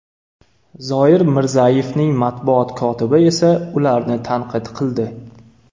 Zoir Mirzayevning matbuot kotibi esa ularni tanqid qildi.